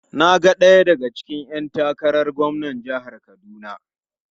Na ga daya daga cikin ‘yan takarar gwamnan jihar Kaduna.